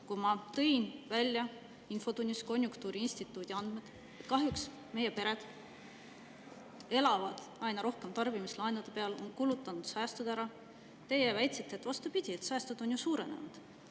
Kui ma tõin infotunnis välja konjunktuuriinstituudi andmed selle kohta, et kahjuks elavad meie pered aina rohkem tarbimislaenude peal ja on kulutanud säästud ära, siis teie väitsite, et vastupidi, säästud on ju suurenenud.